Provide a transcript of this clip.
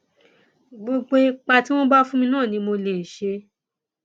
gbogbo ipa tí wọn bá fún mi náà ni mo lè ṣe